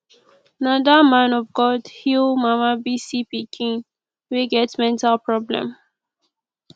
na that man of god heal mama bisi pikin wey get mental problem